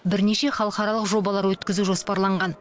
бірнеше халықаралық жобалар өткізу жоспарланған